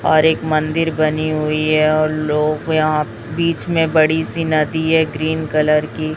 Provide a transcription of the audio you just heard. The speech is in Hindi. और एक मंदिर बनी हुई है और लोग यहां बीच में बड़ी सी नदी है ग्रीन कलर की।